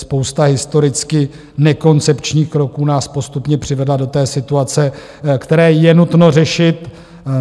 Spousta historicky nekoncepčních kroků nás postupně přivedla do té situace, kterou je nutno řešit.